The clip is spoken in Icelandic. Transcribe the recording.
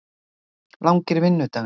Langir vinnudagar?